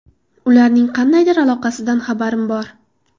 Ularning qandaydir aloqasidan xabarim bor.